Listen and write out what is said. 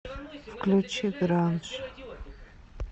включи гранж